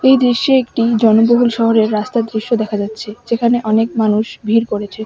এই দৃশ্যে একটি জনবহুল শহরের রাস্তার দৃশ্য দেখা যাচ্ছে যেখানে অনেক মানুষ ভিড় করেছে।